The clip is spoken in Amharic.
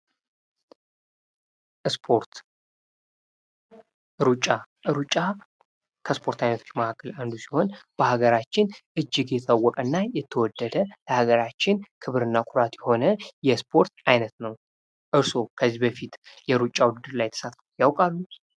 ስፖርት ሩጫ ሩጫ ከስፖርታዊ ማዕከል አንዱ ሲሆን፤ በሀገራችን እጅግ የታወቀ እና የተወደደ ለሀገራችን ክብርና ኩራት የሆነ የስፖርት አይነት ነው። እርስዎ ከዚህ በፊት የሩጫ ውድድር ላይ ተሳትፎ ያውቃሉ?